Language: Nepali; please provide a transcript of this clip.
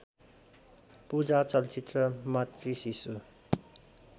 पूजा चलचित्र मातृशिशु